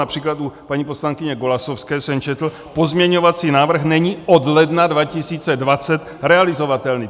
Například u paní poslankyně Golasowské jsem četl - pozměňovací návrh není od ledna 2020 realizovatelný.